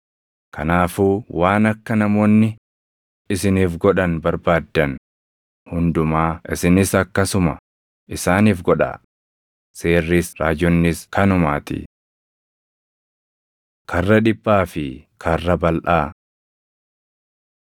Kanaafuu waan akka namoonni isiniif godhan barbaaddan hundumaa isinis akkasuma isaaniif godhaa; Seerris Raajonnis kanumaatii. Karra Dhiphaa fi Karra Balʼaa